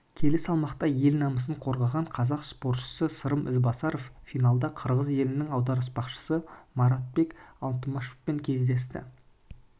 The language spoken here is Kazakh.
келі салмақта ел намысын қорғаған қазақ спортшысы сырым ізбасаров финалда қырғыз елінің аударыспақшысы маратбек алтымышевпен кездесті